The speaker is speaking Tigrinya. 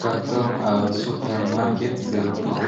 ካብቶም ኣብ ሱፐር ማርኬት ዝርከቡ